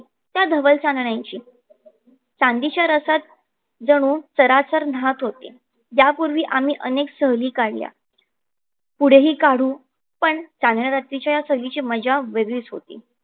या धवल चांदण्याची चांदीच्या रसात जणू चराचरा नाहत होते. या पूर्वी आम्ही अनेक सहली काढल्या पुढे ही काढू पण चांदण्या रात्रीच्या या सहलीची मज्जा वेगळीच होती.